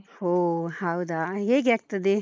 ಓಹ್ ಹೌದಾ? ಹೇಗೆ ಆಗ್ತದೆ?